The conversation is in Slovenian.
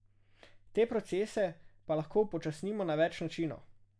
Te procese pa lahko upočasnimo na več načinov.